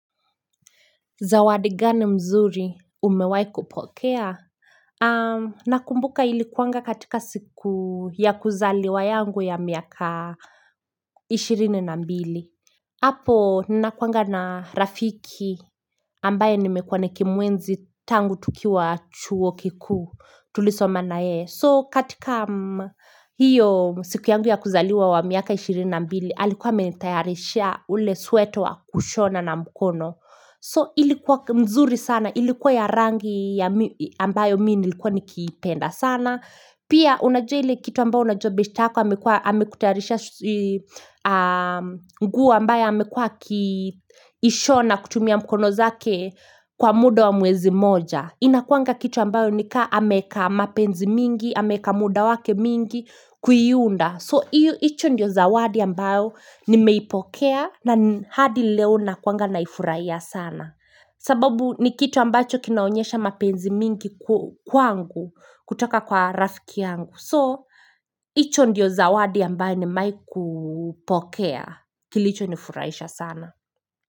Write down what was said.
Zawadi gani mzuri umewai kupokea? Na kumbuka ilikuanga katika siku ya kuzaliwa yangu ya miaka ishirini na mbili. Apo nakuanga na rafiki ambaye nimekuwa nikimwenzi tangu tukiwa chuo kikuu tulisoma na yeye. So katika hiyo siku yangu ya kuzaliwa wa miaka ishirini na mbili alikuwa amenitayarisha ule sweta wa kushona na mkono. So ilikuwa mzuri sana, ilikuwa ya rangi ambayo mimi nilikuwa nikipenda sana. Pia unajua ile kitu ambayo unajua beshte yako, amekutayarisha nguo ambayo amekuwa akiishona kutumia mkono zake kwa muda wa mwezi mmoja. Inakuanga kitu ambayo nika ameka mapenzi mingi, ameka muda wake mwingi kuiunda. So, hicho ndio zawadi ambayo nimeipokea na hadi leo na kuwanga naifurahia sana. Sababu ni kitu ambacho kinaonyesha mapenzi mingi kwangu kutoka kwa rafiki yangu. So, hicho ndio zawadi ambayo nimewaikupokea kilicho nifurahisha sana.